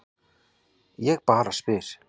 Ég bara spyr.